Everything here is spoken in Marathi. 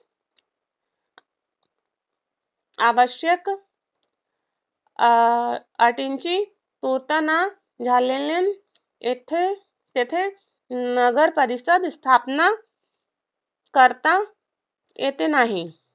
आवश्यक अह अटींची पूर्तता न झाल्याने तेथे नगरपरिषद स्थापना करता येत नाही.